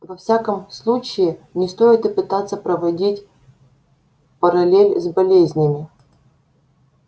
во всяком случае не стоит и пытаться проводить параллель с болезнями